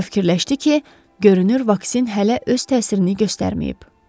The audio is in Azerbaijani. Rövkilləşdi ki, görünür vaksin hələ öz təsirini göstərməyib.